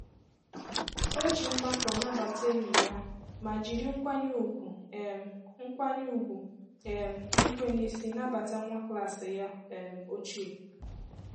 O ji mmakọ nabata enyi ya ma jiri nkwanye ùgwù um nkwanye ùgwù um ikwe n'isi nabata nwa klas ya um ochie.